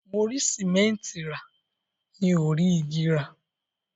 Mo rí sìmẹ́ńtì rà, mi ò rí igi rà.